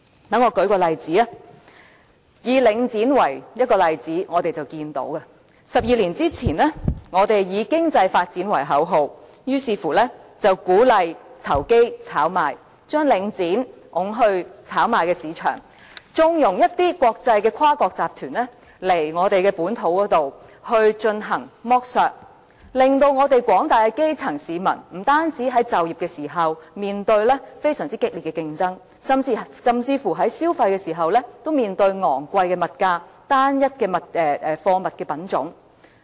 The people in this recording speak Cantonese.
讓我舉出領展房地產投資信託基金這個例子，在12年前，我們以經濟發展為口號，於是鼓勵投機、炒賣，將領展推到炒賣市場，縱容一些跨國集團來到本土進行剝削，令廣大的基層市民，不單在就業時面對非常激烈的競爭，甚至在消費時，都要面對昂貴的物價、單一貨物的品種。